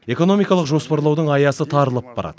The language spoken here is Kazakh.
экономикалық жоспарлаудың аясы тарылып барады